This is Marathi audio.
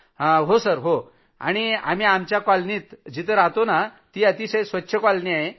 जी जी आणि आम्ही आमच्या कॉलनीत जिथं रहातो ती अतिशय स्वच्छ कॉलनी आहे